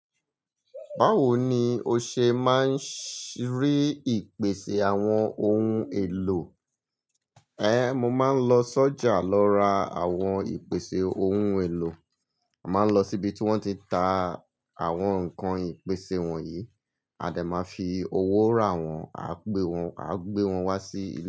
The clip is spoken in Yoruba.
Báwo ni o ṣe máa ń ṣí rí ìpèsè àwọn oun èlò? Ẹ̀, mo máa ń lọ sọ́jà lọ ra àwọn ìpèsè oun elo. Máa ń lọ síbi tí wọ́n ti ń ta àwọn ǹkan ìpèsè wọ̀nyí, a dẹ máa fi owó rà wọ́n, a gbé wọ́n, a gbé wọn wá sí ilé.